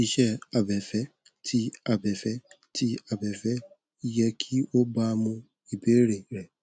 iṣẹ abẹfẹ ti abẹfẹ ti abẹfẹ yẹ ki o baamu ibeere rẹ